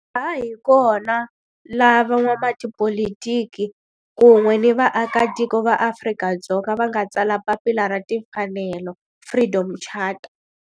Laha hi kona la van'watipolitiki kun'we ni vaaka tiko va Afrika-Dzonga va nga tsala papila ra timfanelo, Freedom Charter.